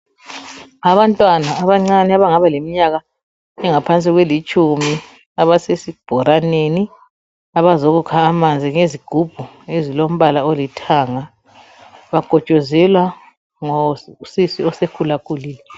Abantwana abancane abangaba leminyaka engaphansi kwrlitshumi, abasesibholaneni abazokuka amanzi ngezigibhu ezilombala olithanga, bakhotshozelwa ngosisi osekhulile.